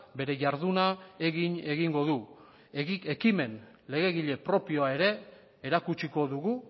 bere jarduna egin egingo du ekimen legegile propioa ere erakutsiko dugu